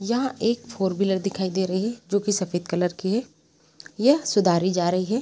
यहाँ एक four wheeler दिखाई दे रही हैं जो की सफेद कलर की हैं जो सुधारी जा रही हैं।